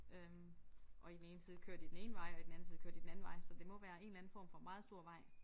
Øh og i den ene side kører de den ene vej og i den anden side kører de den anden vej så det må være en eller anden form for meget stor vej